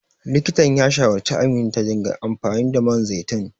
Likitan ya shawarci Amina ta dinga amfani da man zaitun.